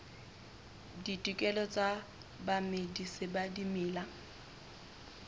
ditokelo tsa bamedisi ba dimela